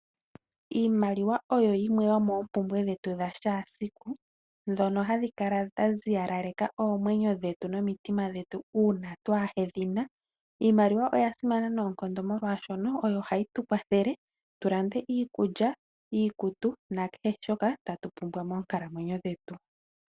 Iimaliwa oyo yimwe yomoompumbwe dhetu dhakehe esiku ndhono hadhi kala dhaziya naleka oomwenyo dhetu nomitima dhetu uuna twahedhina. Iimaliwa oya simana noonkondo molwaashoka oyo hayi tukwathele tulande iikulya, iikutu nakehe shoka tatu pumbwa monkalamwenyo dhetu.